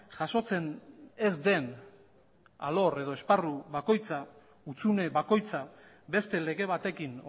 jasotzen ez den alor edo esparru bakoitza hutsune bakoitza beste lege batekin